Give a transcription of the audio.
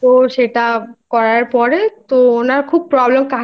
তো সেটা করার পর খুব কাশি হচ্ছিল আর